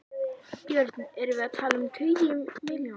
Björn: Erum við að tala um tugi milljóna?